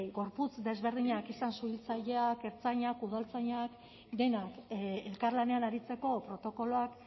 gorputz desberdinak izan suhiltzaileak ertzainak udaltzainak denak elkarlanean aritzeko protokoloak